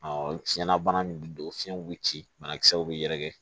fiɲɛ na bana min bɛ don fiɲɛ bɛ ci banakisɛw bɛ yɛrɛkɛ